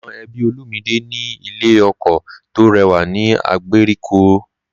Àwọn ẹbí Olumide ní ilé oko tó rẹwà ní ìgbèríko rí.